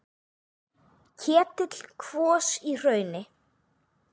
Ketill kvos í hrauni.